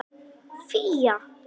Fía